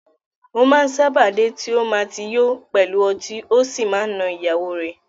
O máa m sábà dé ti o ma ti yo pẹlu ọtí ọ sí ma na ìyàwó rẹ.